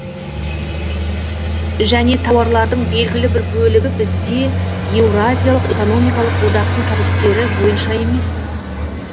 және тауарлардың белгілі бір бөлігі бізде еуразиялық экономикалық одақтың тарифтері бойынша емес